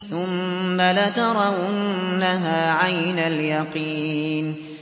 ثُمَّ لَتَرَوُنَّهَا عَيْنَ الْيَقِينِ